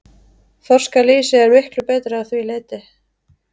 Þorskalýsið er miklu betra að því leyti.